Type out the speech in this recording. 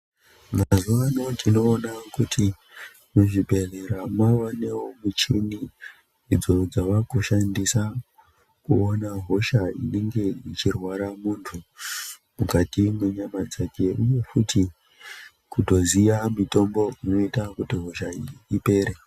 Mazuwa anaa tinoona kutimuzvibhedhlera mavanewo michini idzo dzava kushandiswa kupona hosha inenge ichirwara munthu mukati mwenyama dzake uye futi kutozoya mitombo inoita kuti hosha iyi ipere.